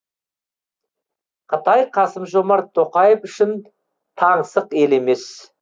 қытай қасым жомарт тоқаев үшін таңсық ел емес